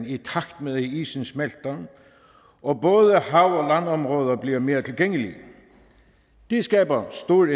i takt med at isen smelter og både hav og bliver mere tilgængelige det skaber stor